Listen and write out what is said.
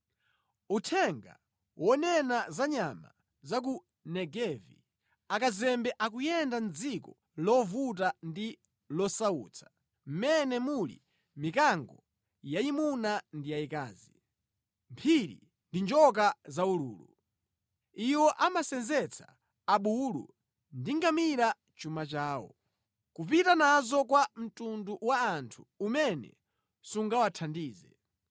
Uthenga wonena za nyama za ku Negevi: Akazembe akuyenda mʼdziko lovuta ndi losautsa, mʼmene muli mikango yayimuna ndi yayikazi, mphiri ndi njoka zaululu. Iwo amasenzetsa abulu ndi ngamira chuma chawo, kupita nazo kwa mtundu wa anthu umene sungawathandize.